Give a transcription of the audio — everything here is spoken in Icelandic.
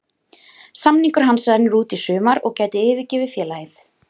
Samningur hans rennur út í sumar og gæti yfirgefið félagið.